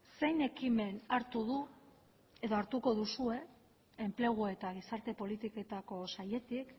zein ekimen hartu du edo hartuko duzue enplegu eta gizarte politiketako sailetik